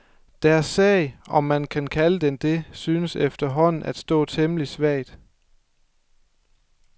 Deres sag, om man kan kalde den det, synes efterhånden at stå temmelig svagt.